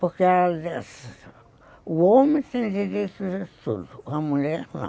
Porque ela dizia assim, o homem tem direito de tudo, a mulher não.